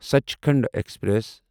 Sachkhand express